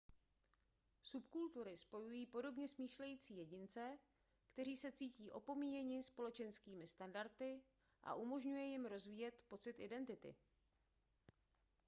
subkultury spojují podobně smýšlející jedince kteří se cítí opomíjeni společenskými standardy a umožňuje jim rozvíjet pocit identity